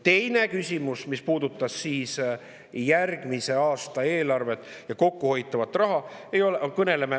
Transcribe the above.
Teine küsimus, mis puudutab järgmise aasta eelarvet ja kokkuhoitavat raha.